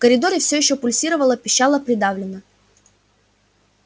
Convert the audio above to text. в коридоре все ещё пульсировало-пищало придавленно